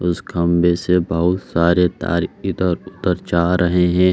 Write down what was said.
उस खम्बे से बहुत सारे तार इधर उधर जा रहे हैं।